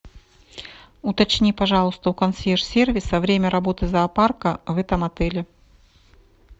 уточни пожалуйста у консьерж сервиса время работы зоопарка в этом отеле